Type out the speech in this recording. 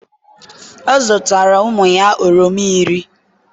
ọ zụtara ụmụ ya oroma iri